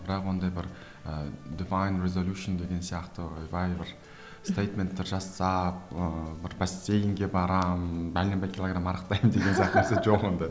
бірақ ондай бір ыыы дэвайн резолюшн деген сияқты ойбай бір стейдменттер жасасақ ыыы бір бассейинге барамын бәленбай килограмм арықтаймын деген сияқты нәрсе жоқ ондай